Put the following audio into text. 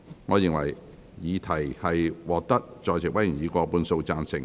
我認為議題獲得在席委員以過半數贊成。